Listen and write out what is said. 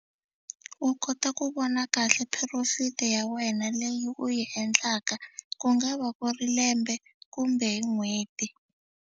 U kota ku vona kahle profit ya wena leyi u yi endlaka ku nga va ku ri lembe kumbe hi n'hweti.